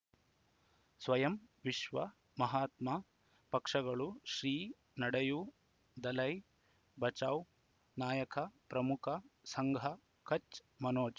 ಸ್ವಯಂ ವಿಶ್ವ ಮಹಾತ್ಮ ಪಕ್ಷಗಳು ಶ್ರೀ ನಡೆಯೂ ದಲೈ ಬಚೌ ನಾಯಕ ಪ್ರಮುಖ ಸಂಘ ಕಚ್ ಮನೋಜ್